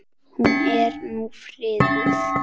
Hún er nú friðuð.